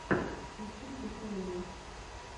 включи дехерера